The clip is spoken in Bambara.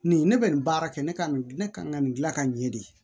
Nin ne bɛ nin baara kɛ ne ka nin ne kan ka nin gila ka ɲɛ de